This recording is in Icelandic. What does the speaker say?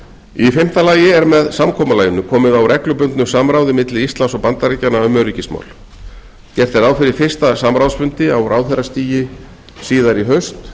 í fimmta lagi er með samkomulaginu komið á reglubundnu samráði milli íslands og bandaríkjanna um öryggismál gert er ráð fyrir fyrsta samráðsfundi á ráðherrastigi síðar í haust